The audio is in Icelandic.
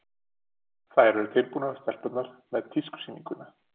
Þær eru tilbúnar, stelpurnar, með tískusýninguna.